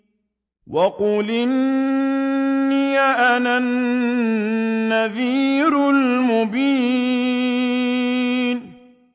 وَقُلْ إِنِّي أَنَا النَّذِيرُ الْمُبِينُ